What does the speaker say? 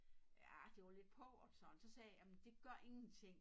Ja det var lidt pauvert sådan så sagde jeg jamen det gør ingenting